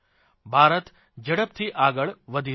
ભારત ઝડપથી આગળ વધી રહ્યો છે